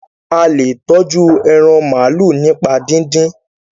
a le tọjú èràn maalu nípa didin.